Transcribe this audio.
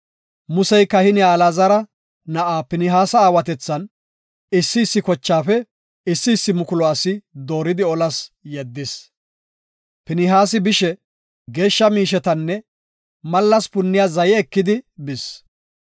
Musey kahiniya Alaazara na7aa Pinihaasa aawatethan, issi issi kochaafe issi issi mukulu asi dooridi olas yeddis; Pinihaasi bishe geeshsha miishetanne mallas punniya zaye ekidi bis.